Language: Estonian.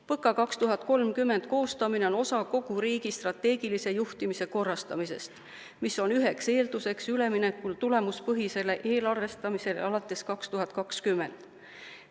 PõKa 2030 koostamine on osa kogu riigi strateegilise juhtimise korrastamisest, mis on üheks eelduseks üleminekul tulemuspõhisele eelarvestamisele alates 2020.